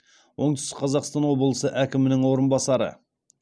оңтүстік қазақстан облысы әкімінің орынбасары